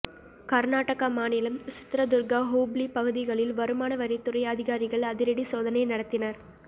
கர்நாடகா மாநிலம் சித்ரதுர்கா ஹூப்ளி பகுதிகளில் வருமான வரித்துறை அதிகாரிகள் அதிரடி சோதனை நடத்தினர்